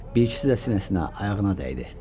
Bir ikisi də sinəsinə, ayağına dəydi.